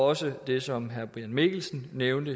også det som herre brian mikkelsen nævnte